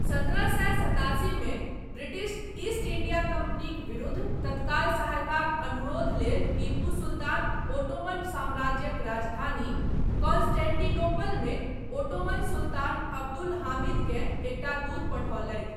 सत्रह सए सतासीमे ब्रिटिश ईस्ट इंडिया कम्पनीक विरुद्ध तत्काल सहायताक अनुरोध लेल टीपू सुल्तान ओटोमन साम्राज्यक राजधानी कॉन्स्टेंटिनोपलमे ओटोमन सुल्तान अब्दुल हामिदकेँ एकटा दूत पठौलथि I